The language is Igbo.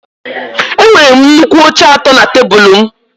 Enwere m nnukwu oche atọ na tebụl m